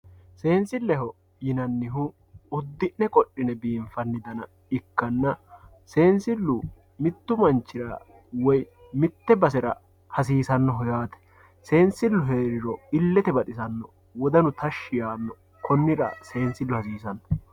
seensilleho yinannihu iddi'ne qodhine binfanniha ikkanna seensillu mittu manchira woye mitte basera hasiisannoho yaate seensillu heeriro illete baxisanno wodanu tashshi yaanno konira seensillu hasiisanno.